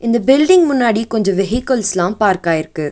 இந்த பில்டிங் முன்னாடி கொஞ்சோ வெஹிக்கல்ஸ்லா பார்க் ஆகியிருக்கு.